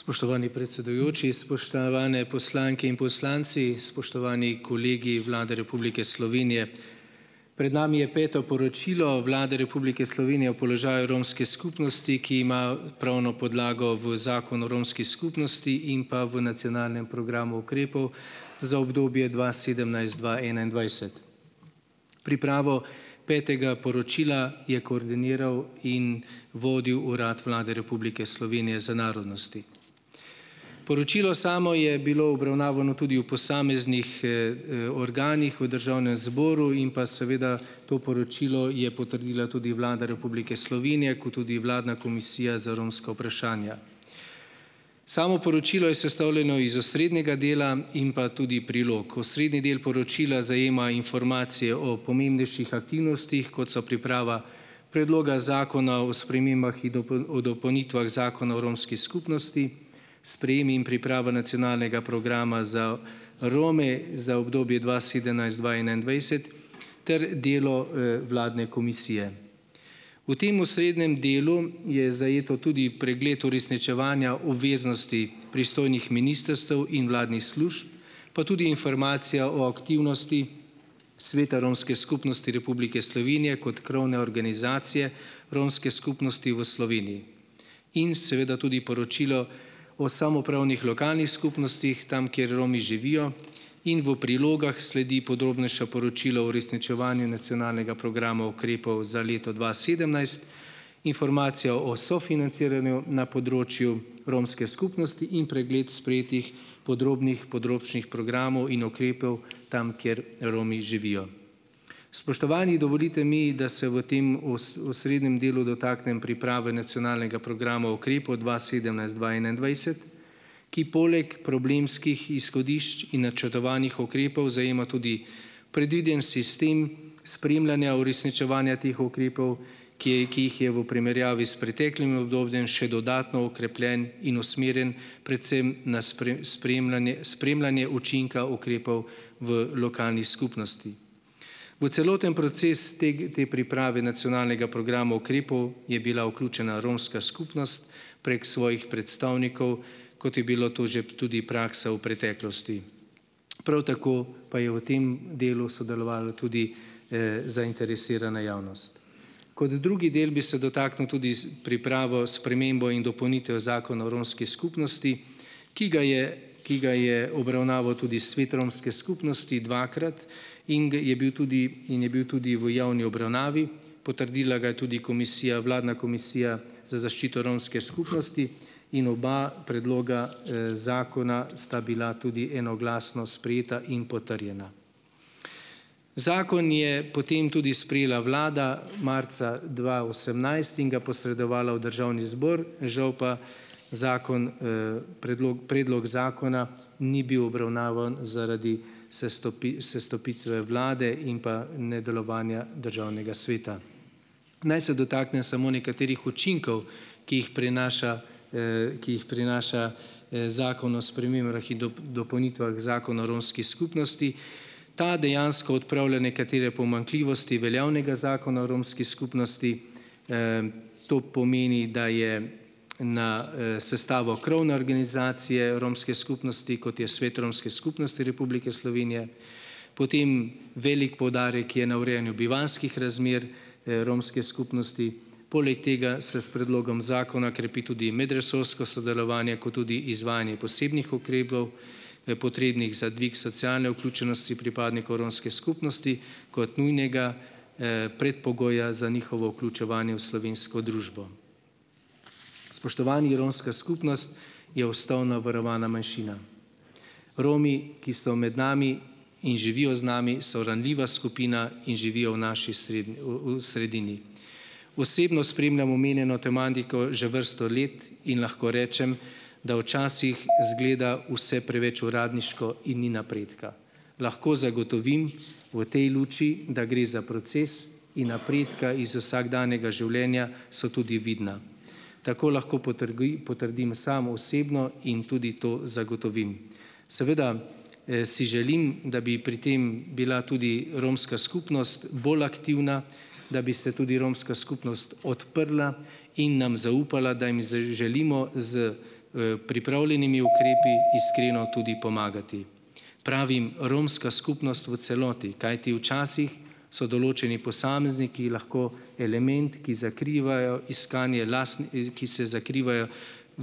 Spoštovani predsedujoči, spoštovane poslanke in poslanci, spoštovani kolegi Vlade Republike Slovenije. Pred nami je Peto poročilo Vlade Republike Slovenije položaju romske skupnosti, ki ima pravno podlago v Zakonu o romski skupnosti in pa v nacionalnem programu ukrepov za obdobje dva sedemnajst-dva enaindvajset. Pripravo petega poročila je koordiniral in vodil Urad Vlade Republike Slovenije za narodnosti. Poročilo samo je bilo obravnavano tudi v posameznih, organih v državnem zboru in pa seveda to poročilo je potrdila tudi Vlada Republike Slovenije kot tudi vladna Komisija za romska vprašanja. Samo poročilo je sestavljeno iz osrednjega dela in pa tudi prilog. Osrednji del poročila zajema informacije o pomembnejših aktivnostih, kot so priprava Predloga zakona o spremembah in o dopolnitvah Zakona o romski skupnosti, sprejem in priprava nacionalnega programa za Rome za obdobje dva sedemnajst-dva enaindvajset ter delo, vladne komisije. V tem osrednjem delu je zajet tudi pregled uresničevanja obveznosti pristojnih ministrstev in vladnih služb, pa tudi informacija o aktivnosti Sveta romske skupnosti Republike Slovenije kot krovne organizacije romske skupnosti v Sloveniji in seveda tudi poročilo o samoupravnih lokalnih skupnostih tam, kjer Romi živijo. In v prilogah sledi podrobnejše poročilo o uresničevanju nacionalnega programa ukrepov za leto dva sedemnajst, informacija o sofinanciranju na področju romske skupnosti in pregled sprejetih podrobnih področnih programov in ukrepov tam, kjer Romi živijo. Spoštovani, dovolite mi, da se v tem osrednjem delu dotaknem priprave nacionalnega programa ukrepov dva sedemnajst-dva enaindvajset, ki poleg problemskih izhodišč in načrtovanih ukrepov zajema tudi predviden sistem spremljanja uresničevanja teh ukrepov, ki je, ki jih je v primerjavi s preteklim obdobjem še dodatno okrepljen in usmerjen predvsem na spremljanje spremljanje učinka ukrepov v lokalni skupnosti. V celoten proces te priprave nacionalnega programa ukrepov je bila vključena romska skupnost prek svojih predstavnikov, kot je bilo to že tudi praksa v preteklosti. Prav tako pa je v tem delu sodelovala tudi, zainteresirana javnost. Kot drugi del bi se dotaknil tudi s pripravo, spremembo in dopolnitve Zakona o romski skupnosti, ki ga je, ki ga je obravnaval tudi svet romske skupnosti dvakrat in ga je bil tudi in je bil tudi v javni obravnavi, potrdila ga je tudi komisija, vladna komisija za zaščito romske skupnosti in oba predloga, zakona sta bila tudi enoglasno sprejeta in potrjena. Zakon je potem tudi sprejela vlada marca dva osemnajst in ga posredovala v državni zbor. Žal pa zakon, predlog zakona ni bil obravnavan zaradi sestopitve vlade in pa nedelovanja državnega sveta. Naj se dotaknem samo nekaterih učinkov, ki jih prinaša, ki jih prinaša, zakon o spremembah in dopolnitvah Zakona o romski skupnosti. Ta dejansko odpravlja nekatere pomanjkljivosti veljavnega zakona o romski skupnosti. To pomeni, da je na, sestavo krovne organizacije romske skupnosti, kot je Svet romske skupnosti Republike Slovenije, potem velik poudarek je na urejanju bivanjskih razmer, romske skupnosti. Poleg tega se s predlogom zakona krepi tudi medresorsko sodelovanje kot tudi izvajanje posebnih ukrepov, potrebnih za dvig socialne vključenosti pripadnikov romske skupnosti kot nujnega, predpogoja za njihovo vključevanje v slovensko družbo. Spoštovani! Romska skupnost je ustavno varovana manjšina. Romi, ki so med nami in živijo z nami, so ranljiva skupina in živijo v naši v v sredini. Osebno spremljam omenjeno tematiko že vrsto let in lahko rečem, da včasih izgleda vse preveč uradniško in ni napredka. Lahko zagotovim v tej luči, da gre za proces, in napredki iz vsakdanjega življenja so tudi vidni. Tako lahko potrdim sam osebno in tudi to zagotovim. Seveda, si želim, da bi pri tem bila tudi romska skupnost bolj aktivna, da bi se tudi romska skupnost odprla in nam zaupala, da jim želimo s, pripravljenimi ukrepi iskreno tudi pomagati. Pravim, romska skupnost v celoti. Kajti včasih so določeni posamezniki lahko element, ki zakrivajo iskanje z ki se zakrivajo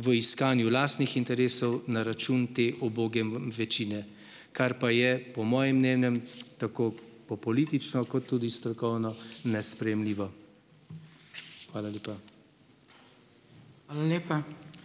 v iskanju lastnih interesov na račun te uboge večine, kar pa je, po mojem mnenju, tako po politično kot tudi strokovno nesprejemljivo. Hvala lepa.